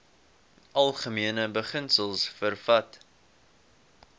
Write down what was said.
algemene beginsels vervat